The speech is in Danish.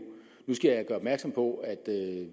nu skal jeg gøre opmærksom på at